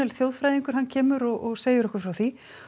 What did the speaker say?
þjóðfræðingur kemur og segir okkur frá því